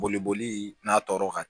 Boliboli n'a tɔɔrɔ ka